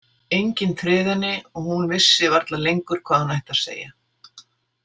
Enginn tryði henni og hún vissi varla lengur hvað hún ætti að segja